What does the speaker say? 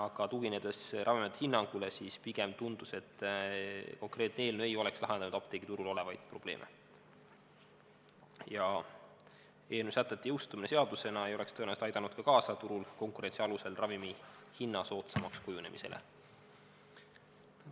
Aga tuginedes Ravimiameti hinnangule, siis pigem tundus, et konkreetne eelnõu ei oleks lahendanud apteegiturul olevaid probleeme ja eelnõu sätete jõustumine seadusena ei oleks tõenäoliselt aidanud ka kaasa turul konkurentsi alusel ravimihinna soodsamaks kujunemisele.